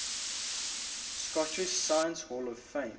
scottish science hall of fame